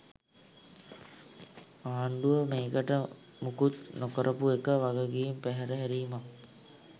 ආණ්ඩුව මේකට මොකුත් නොකරපු එක වගකීම් පැහැර හැරීමක්.